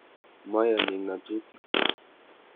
Mayanik ngatutik